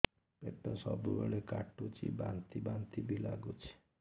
ପେଟ ସବୁବେଳେ କାଟୁଚି ବାନ୍ତି ବାନ୍ତି ବି ଲାଗୁଛି